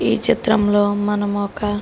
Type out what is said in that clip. ఈ చిత్రంలో మనం ఒక --